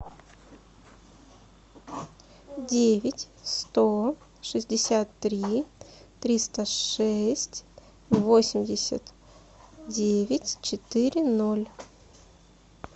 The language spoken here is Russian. девять сто шестьдесят три триста шесть восемьдесят девять четыре ноль